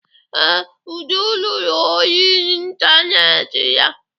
Ee, Uju lụrụ ọyị ịntaneetị ya.